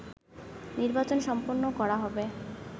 নির্বাচন সম্পন্ন করা হবে